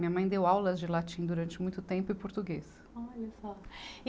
Minha mãe deu aulas de latim durante muito tempo e português. Olha só, e